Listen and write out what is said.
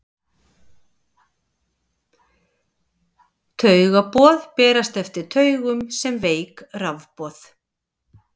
Taugaboð berast eftir taugum sem veik rafboð.